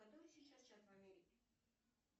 который сейчас час в америке